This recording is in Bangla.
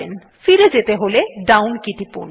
ফিরে যেতে হলে ডাউন কে টিপুন